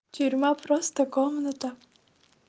тюрьма просто комната